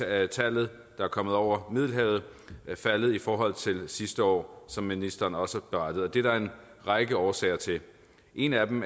antallet der er kommet over middelhavet faldet i forhold til sidste år som ministeren også berettede og det er der en række årsager til en af dem